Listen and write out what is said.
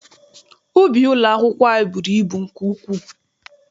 Ubi ụlọakwụkwọ anyị bụrụ ibu nke ukwuu.